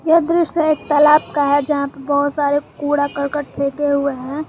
यह दृश्य एक तालाब का है जहां पर बहुत सारे कूड़ा करकट फेंके हुए हैं।